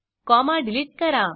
comma delete करा